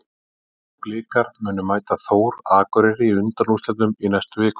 Blikar munu mæta Þór Akureyri í undanúrslitum í næstu viku.